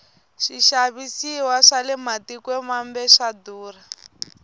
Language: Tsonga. swixavisiwa swale matikweni mambe swa durha